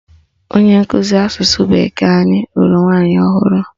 Onye nkụzi asụsụ bekee anyị lụrụ nwaanyị ọhụrụ